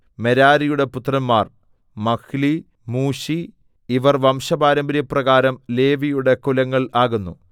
മെരാരിയുടെ പുത്രന്മാർ Mahli Mushi ഇവർ വംശപാരമ്പര്യപ്രകാരം ലേവിയുടെ കുലങ്ങൾ ആകുന്നു